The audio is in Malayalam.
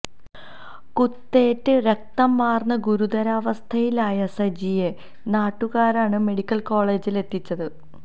കുത്തേറ്റ് രക്തം വാര്ന്ന് ഗുരുതരാവസ്ഥയിലായ സജിയെ നാട്ടുകാരാണ് മെഡിക്കല് കോളേജില് എത്തിച്ചത്